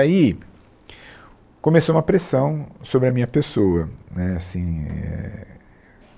Aí começou uma pressão sobre a minha pessoa. Né, assim, éh